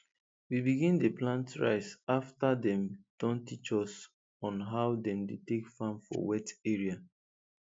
we begin dey plant rice afta dem Accepted teach us on how dem dey take farm for wet area